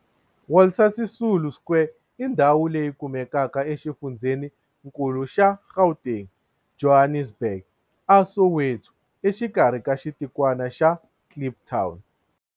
Walter Sisulu Square i ndhawu leyi kumekaka exifundzheni-nkulu xa Gauteng, Johannesburg, a Soweto, exikarhi ka xitikwana xa Kliptown.